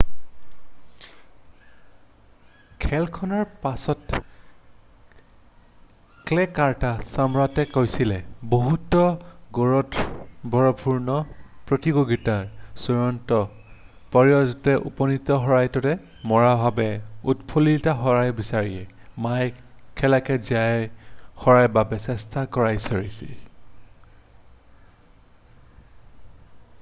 "খেলখনৰ পাছত ক্লে ক'ৰ্টৰ সম্ৰাটে কৈছিল "বহুতো গুৰুত্বপূৰ্ণ প্ৰতিযোগিতাৰ চূড়ান্ত পৰ্যায়ত উপনীত হোৱাটোতেই মোৰ বাবে উৎফুল্লিত হোৱাৰ বিষয়। মই এই খেলখনত জয়ী হোৱাৰ বাবে চেষ্টা কৰিছোঁ।""